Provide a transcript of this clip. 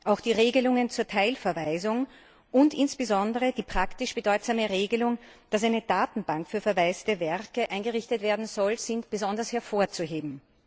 Auch die Regelungen zur Teilverwaisung und insbesondere die praktisch bedeutsame Regelung, dass eine Datenbank für verwaiste Werke eingerichtet werden soll, sind besonders hervorzuheben.